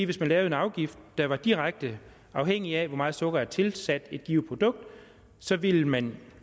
hvis man lavede en afgift der var direkte afhængig af hvor meget sukker der var tilsat et givet produkt så ville man